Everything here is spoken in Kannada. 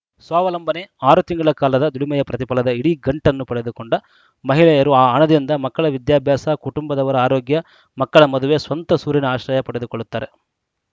ಸ್ವಾವಲಂಬನೆ ಅರು ತಿಂಗಳ ಕಾಲದ ದುಡಿಮೆಯ ಪ್ರತಿಫಲದ ಇಡೀ ಗಂಟನ್ನು ಪಡೆದುಕೊಂಡ ಮಹಿಳೆಯರು ಆ ಹಣದಿಂದ ಮಕ್ಕಳ ವಿದ್ಯಾಭ್ಯಾಸ ಕುಟಂಬದವರ ಆರೋಗ್ಯ ಮಕ್ಕಳ ಮದುವೆ ಸ್ವಂತ ಸೂರಿನ ಆಶ್ರಯ ಪಡೆದುಕೊಳ್ಳುತ್ತಾರೆ